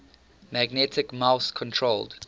magnetic mouse controlled